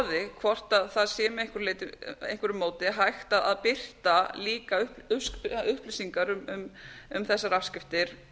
skoði hvort það sé með einhverju móti hægt að birta líka upplýsingar um þessar afskriftir